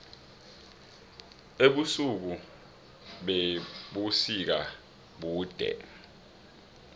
ubusuku bebusika bude